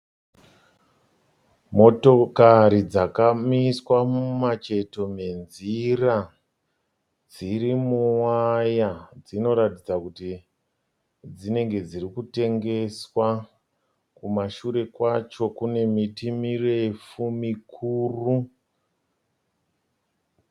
Motokari dzakamiswa mumacheto menzira. Dziri muwaya. Dzinoratidza kuti dzinenge dzirikutengeswa. Kumashure kwadzo kune miti mirefu mikuru.